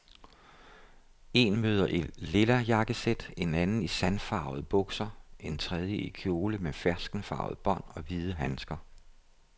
En møder i lilla jakkesæt, en anden i sandfarvede bukser og en tredje i kjole med ferskenfarvede bånd og hvide handsker.